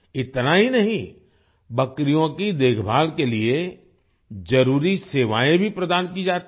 इतना ही नहीं बकरियों की देखभाल के लिए जरूरी सेवाएँ भी प्रदान की जाती हैं